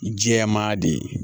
Jɛman de ye